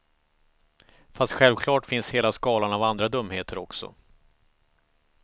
Fast självklart finns hela skalan av andra dumheter också.